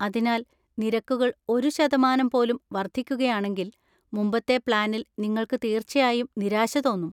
അതിനാൽ, നിരക്കുകൾ ഒരു ശതമാനം പോലും വർദ്ധിക്കുകയാണെങ്കിൽ, മുമ്പത്തെ പ്ലാനിൽ നിങ്ങൾക്ക് തീർച്ചയായും നിരാശ തോന്നും.